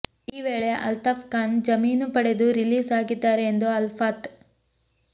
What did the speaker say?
ಈ ವೇಳೆ ಅಲ್ತಾಫ್ ಖಾನ್ ಜಾಮೀನು ಪಡೆದು ರಿಲೀಸ್ ಆಗಿದ್ದಾರೆ ಎಂದು ಅಲ್ತಾಫ್